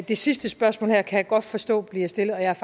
det sidste spørgsmål her kan jeg godt forstå bliver stillet og jeg